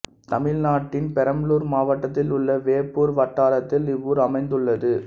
தமிழ்நாட்டின் பெரம்பலூர் மாவட்டத்தில் உள்ள வேப்பூர் வட்டாரத்தில் இவ்வூர் அமைந்துள்ளது